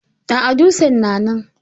A'a, dutsen na nan.